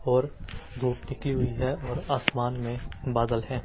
और धूप निकली हुई है और आसमान में बादल हैं।